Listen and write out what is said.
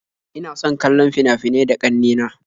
Ina son kallon fina-finai da ƙanne na